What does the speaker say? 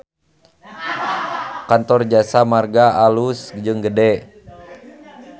Kantor Jasa Marga alus jeung gede